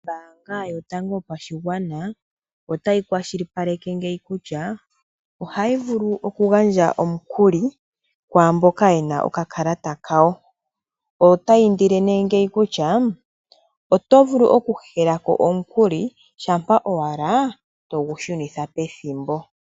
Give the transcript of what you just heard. Ombaanga yotango yopashigwana otayi kwashilipaleke ngeyi kutya ohayi vulu oku gandja omukuli kwamboka yena oka kalata kawo. Otayi indile ngeyi kutya oto vulu oku hehelako omukuli shampa owala togu shunitha pethimbo.